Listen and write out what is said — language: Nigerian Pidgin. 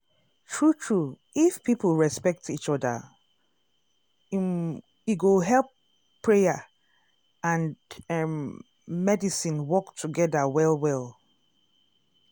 true true if people respect each oda um e go help prayer um and errm medicine work togeda well well um.